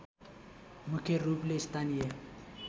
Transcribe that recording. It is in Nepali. मुख्य रूपले स्थानीय